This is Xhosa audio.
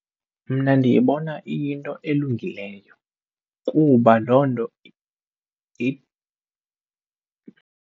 Mna ndiyibona iyinto elungileyo kuba loo nto .